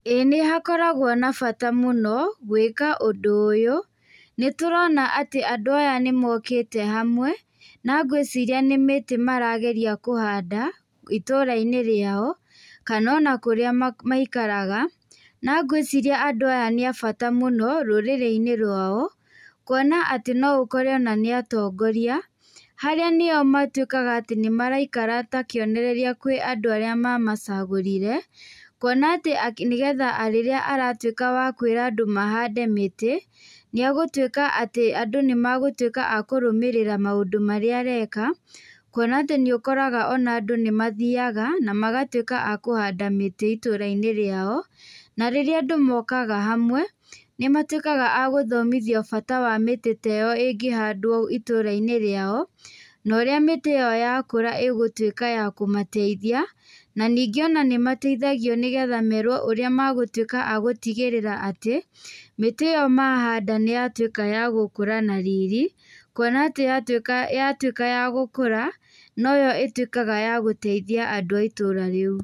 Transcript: Ĩĩ nĩ hakoragwo na bata mũno gũĩka ũndũ ũyũ, nĩ tũrona andũ aya nĩmokĩte hamwe, na ngciria nĩ mĩtĩ marageria kũhanda, itũra-inĩ rĩao kana ona kũrĩa maikaraga. Na ngũĩciria andũ aya nĩ abata mũno rũrĩrĩ-inĩ rwao, kwona atĩ noũkore nĩ atongoria, harĩa matuĩkaga atĩ nĩo maraikara ta kĩonereria kwĩ andũ arĩa mamacagũrire, kwona atĩ nĩgetha rĩrĩa atuĩke wakwĩra andũ mahande mĩtĩ nĩ agũtũĩka atĩ andũ nĩmegũtuũka akũrũmĩrĩra maũndũ marĩa areka, kwona atĩ nĩ ũkoraga andũ nĩmathiaga na magatuĩka nĩ akũhanda mĩtĩ itũra-inĩ rĩao. Na rĩrĩa andũ mokaga hamwe, nĩmatuĩkaga agũthomithio bata wa mĩtĩ taĩyo, ĩngĩhandwo itũra-inĩ riao, no ũrĩa mĩtĩ ĩyo yakũra ĩgũtuĩka ya kũmateithia, na ningĩ ona nĩmateithagio nĩgetha merwo ũrĩa megũtuĩka agũtigĩrĩra atĩ mĩtĩ ĩyo mahanda nĩyatuĩka ya gũkũra na riri, kwona atĩ yatuĩka ya gũkũra, noyo ĩtuĩkaga ya gũteithia andũ a itũra rĩu.